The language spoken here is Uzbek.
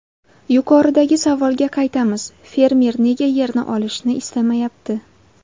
Yuqoridagi savolga qaytamiz: fermer nega yerni olishni istamayapti?